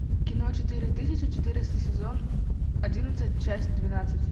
кино четыре тысячи четыреста сезон одиннадцать часть двенадцать